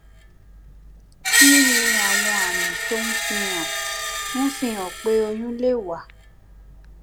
kí ni àwọn àmì tó ń fi hàn ń fi hàn pé oyún lè wà